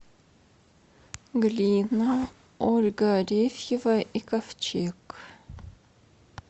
глина ольга арефьева и ковчег